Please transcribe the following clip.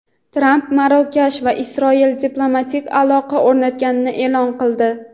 Tramp Marokash va Isroil diplomatik aloqa o‘rnatganini e’lon qildi.